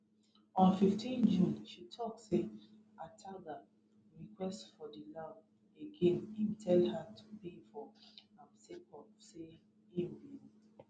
on 15 june she tok say ataga request for di loud again im tell her to pay for am sake of say im bin